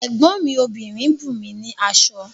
Ẹ̀gbọ́n mi obìnrin bùnmi ní aṣọ